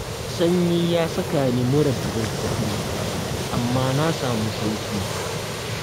Sanyi ya saka ni mura da zazzaɓi, amma na samu sauƙi.